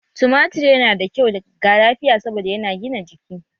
Tumatir yana da kyau ga lafiya saboda yana gina jiki